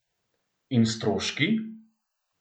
In stroški?